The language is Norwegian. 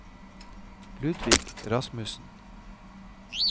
Ludvig Rasmussen